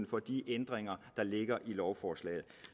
for de ændringer der ligger i lovforslaget